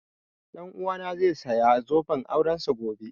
Ɗan uwana zai saya zoben aurensa gobe